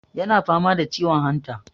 yana fama da ciwon hanta